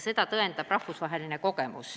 Seda tõendab rahvusvaheline kogemus.